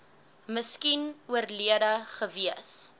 miskien oorlede gewees